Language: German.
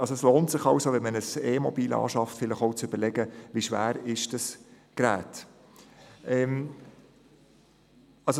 Es lohnt sich bei der Anschaffung eines E-Mobils zu überlegen, wie schwer das Gerät ist.